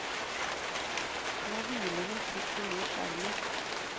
Nå hviler hun trygt i mors armer.